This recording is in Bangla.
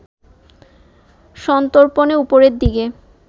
সন্তর্পণে উপরের দিকে